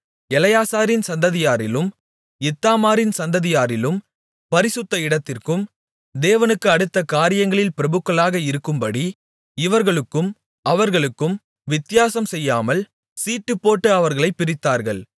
எலெயாசாரின் சந்ததியாரிலும் இத்தாமாரின் சந்ததியாரிலும் பரிசுத்த இடத்திற்கும் தேவனுக்கு அடுத்த காரியங்களில் பிரபுக்களாக இருக்கும்படி இவர்களுக்கும் அவர்களுக்கும் வித்தியாசம்செய்யாமல் சீட்டுப்போட்டு அவர்களைப் பிரித்தார்கள்